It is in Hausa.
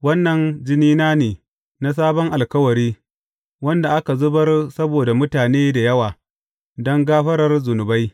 Wannan jinina ne na sabon alkawari, wanda aka zubar saboda mutane da yawa, don gafarar zunubai.